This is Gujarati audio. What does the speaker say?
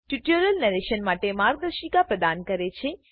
ટ્યુટોરીયલ નેરેશન માટે માર્ગદર્શિકા પ્રદાન કરે છે